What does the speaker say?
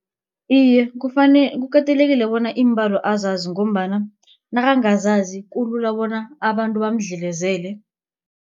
Iye, kukatelekile bona iimbalo azazi ngombana nakangazazi kulula bona abantu bamdlelezele.